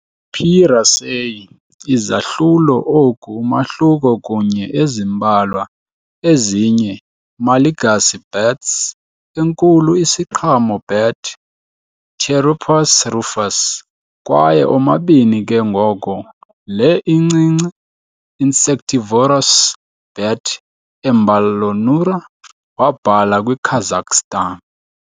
"P. raceyi" izahlulo oku umahluko kunye ezimbalwa ezinye Malagasy bats- enkulu isiqhamo bat "Pteropus rufus" kwaye omabini ke ngoko le incinci insectivorous bat "Emballonura" wabhala kwi Kazakhstan.